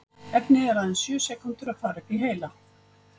Efnið er aðeins sjö sekúndur að fara upp í heila.